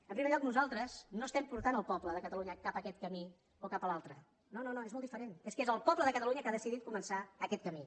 en primer lloc nosaltres no estem portant el poble de catalunya cap aquest camí o cap a l’altre no no no és molt diferent és que és el poble de catalunya que ha decidit començar aquest camí